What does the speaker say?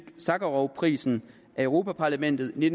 sakharovprisen af europa parlamentet i